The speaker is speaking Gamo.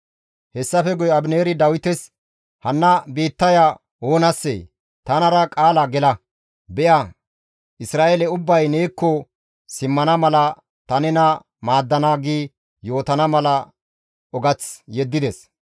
Hessafe guye Abineeri Dawites, «Hanna biittaya oonassee? Tanara qaala gela; be7a Isra7eele ubbay neekko simmana mala ta nena maaddana» gi yootana mala ogath yeddides.